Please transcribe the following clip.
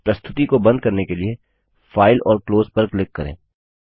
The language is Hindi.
प्रस्तुति को बंद करने के लिए फाइल और क्लोज़ पर क्लिक करें